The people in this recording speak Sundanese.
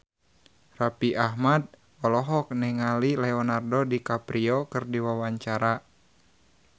Raffi Ahmad olohok ningali Leonardo DiCaprio keur diwawancara